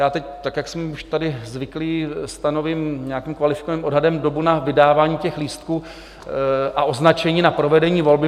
Já teď, tak jak jsme už tady zvyklí, stanovím nějakým kvalifikovaným odhadem dobu na vydávání těch lístků a označení na provedení volby.